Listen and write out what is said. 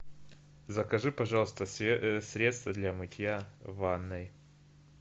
закажи пожалуйста средство для мытья ванной